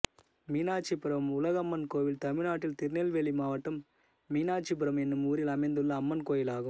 மீனாட்சிபுரம் உலகம்மன் கோயில் தமிழ்நாட்டில் திருநெல்வேலி மாவட்டம் மீனாட்சிபுரம் என்னும் ஊரில் அமைந்துள்ள அம்மன் கோயிலாகும்